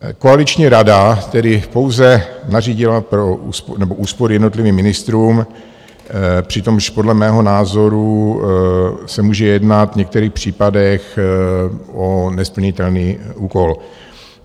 Koaliční rada tedy pouze nařídila úspory jednotlivým ministrům, přičemž podle mého názoru se může jednat v některých případech o nesplnitelný úkol.